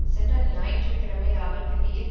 சென்ற ஞாயிற்று கிழமை ராவல்பிண்டியில்